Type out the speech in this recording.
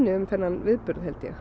um þennan viðburð